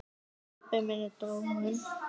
Hann pabbi minn er dáinn.